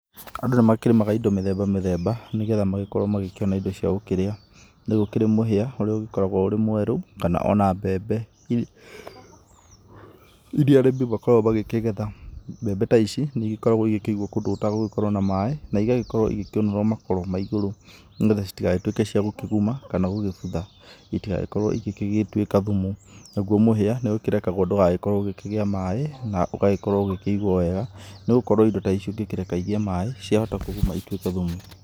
Andũ nĩmakĩrĩmaga indo mĩthemba mĩthemba nĩ getha makĩone indo cia gũkĩrĩa. Ni gũkĩrĩ mũhĩa ũrĩa ũgĩkoragwo ũrĩ mweru, kana ona mbembe iria arĩmi makoragwo magĩkĩgetha. Mbembe ta ici nĩ ĩgĩkoragwo igĩkĩigwo kũndũ gũtagũgĩkorwo na maaĩ, na ĩgagĩkorwo igĩkĩũnũrwo makoro ma igũrũ nĩ getha citigagĩtũĩke cia gũkĩguma kana gũgĩbutha itigagĩkorwo igĩgĩtwĩka thumu. Naguo mũhĩa nĩũkĩrekagwo ndũgagĩkorwo ũkĩgĩa maaĩ na ũgagĩkorwo ũgĩkĩigwo wega nĩ gũkorwo indo ta ici ũngĩkĩreka igĩe maaĩ ciahita kũguma ituĩke thumu.